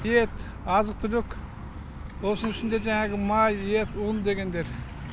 ет азық түлік осының ішінде жаңағы май ет ұн дегендер